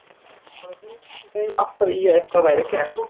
Það var hún sem dreif alltaf í að eitthvað væri gert.